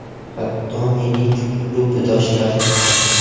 Hatto mening klubdoshlarim ham.